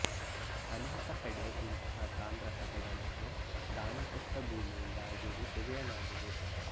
ಅನೇಕ ಕಡೆ ಇಂತಹ ತಾಮ್ರ ಪಟಗಳನ್ನು ದಾನಕೊಟ್ಟ ಭೂಮಿಯಿಂದ ಅಗೆದು ತೆಗೆಯಲಾಗಿದೆ